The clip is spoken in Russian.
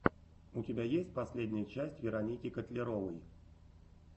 у тебя есть последняя часть вероники котляровой